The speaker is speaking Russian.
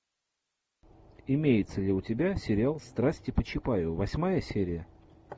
имеется ли у тебя сериал страсти по чапаеву восьмая серия